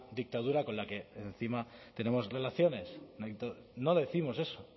dictadura con la que en encima tenemos relaciones no décimos eso